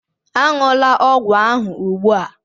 Aṅụla ọgwụ ahụ ugbu a!